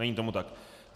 Není tomu tak.